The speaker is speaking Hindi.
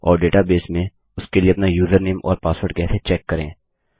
और डेटाबेस में उसके लिए अपना यूजरनेम और पासवर्ड कैसे चेक करें